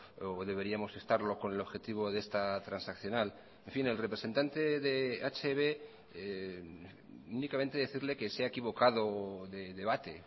o deberíamos estarlo con el objetivo de esta transaccional en fin el representante de hb únicamente decirle que se ha equivocado de debate